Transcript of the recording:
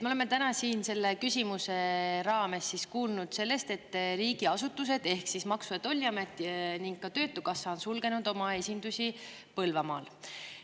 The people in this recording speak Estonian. Me oleme täna siin selle küsimuse raames kuulnud sellest, et riigiasutused ehk Maksu- ja Tolliamet ning ka Töötukassa on sulgenud oma esindusi Põlvamaal.